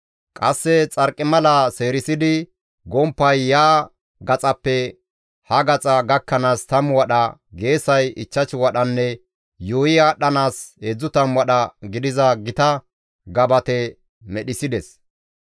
Qasse xarqimala seerisidi gomppay ya gaxappe ha gaxa gakkanaas 10 wadha, geesay 5 wadhanne yuuyi aadhdhanaas 30 wadha gidiza gita gabate medhissides.